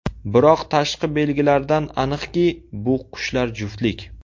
Biroq tashqi belgilaridan aniqki, bu qushlar juftlik.